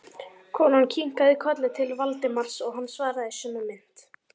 Konan kinkaði kolli til Valdimars, hann svaraði í sömu mynt.